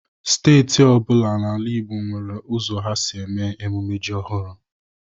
Steeti ọ bụla n'ala Igbo nwere ụzọ ha si eme mmemme ji ọhụrụ.